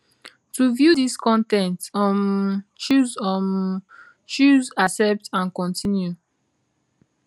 to view dis con ten t um choose um choose accept and continue